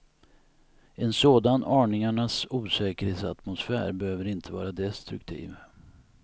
En sådan aningarnas osäkerhetsatmosfär behöver inte vara destruktiv.